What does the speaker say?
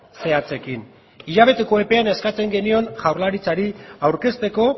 zehatzekin hilabeteko epean eskatzen genion jaurlaritzari aurkezteko